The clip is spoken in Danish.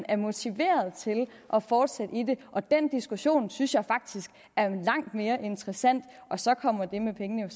er motiveret til at fortsætte i det og den diskussion synes jeg faktisk er langt mere interessant så kommer det med pengene